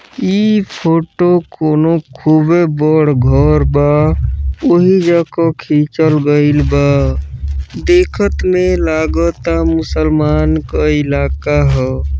इ फोटो कउनों खूबे बढ़ घर बा उही जा को खीचल गईल बा देखत में लगत ता मुसलमान का इलाका हा --